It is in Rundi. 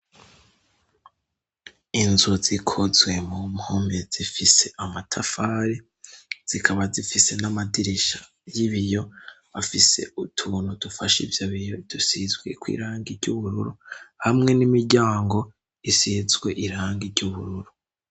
Inzu zikozwe mu mpome zifise amatafari zikaba zifise n'amadirisha y'ibiyo afise utuntu dufashe ivyo biyo dusizweko irangi ry'ubururu hamwe n'imiryango isizwe irangi ry'ubururu.